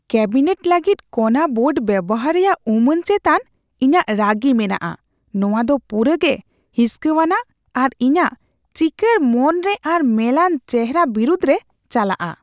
Cabinet ᱞᱟᱹᱜᱤᱫ ᱠᱚᱱᱟ board ᱵᱮᱣᱦᱟᱨ ᱨᱮᱭᱟᱜ ᱩᱢᱟᱹᱱ ᱪᱮᱛᱟᱱ ᱤᱧᱟᱹᱜ ᱨᱟᱹᱜᱤ ᱢᱮᱱᱟᱜᱼᱟ ᱾ ᱱᱚᱶᱟ ᱫᱚ ᱯᱩᱨᱟᱹᱜᱮ ᱦᱤᱸᱥᱠᱟᱣᱟᱱᱟᱜ ᱟᱨ ᱤᱧᱟᱹᱜ ᱪᱤᱸᱠᱟᱹᱲ ᱢᱚᱱᱨᱮ ᱟᱨ ᱢᱮᱞᱟᱱ ᱪᱮᱦᱚᱨᱟ ᱵᱤᱨᱩᱫᱨᱮ ᱪᱟᱞᱟᱜᱼᱟ ᱾